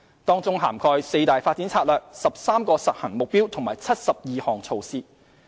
當中涵蓋四大發展策略、13個實行目標及72項措施。